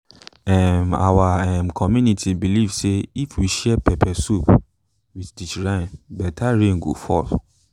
um our um community believe say if we share pepper soup with the shrine better rain go fall.